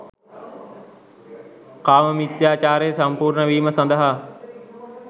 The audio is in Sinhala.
කාම මිථ්‍යාචාරය සම්පූර්ණ වීම සඳහා